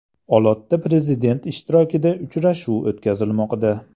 Olotda Prezident ishtirokida uchrashuv o‘tkazilmoqda.